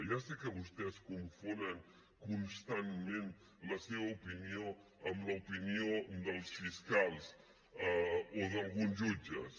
ja sé que vostès confonen constantment la seva opinió amb l’opinió dels fiscals o d’alguns jutges